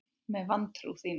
Með vantrú þína.